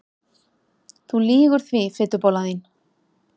Þú lýgur því fitubollan þín!